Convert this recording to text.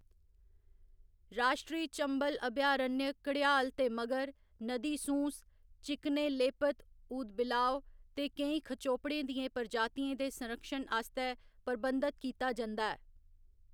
राश्ट्री चंबल अभयारण्य घड़ियाल ते मगर, नदी सूँस, चिकने लेपित ऊदबिलाव ते केईं खचोपड़ें दियें प्रजातियें दे संरक्षण आस्तै प्रबंधत कीता जंदा ऐ।